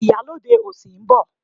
Ìyálóde òsì ń bọ̀.